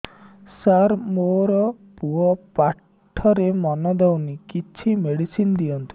ସାର ମୋର ପୁଅ ପାଠରେ ମନ ଦଉନି କିଛି ମେଡିସିନ ଦିଅନ୍ତୁ